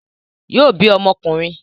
Yóò bí ọmọ ọkùnrin